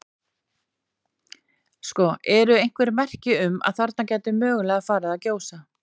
Sko, eru einhver merki um að þarna geti mögulega farið að gjósa?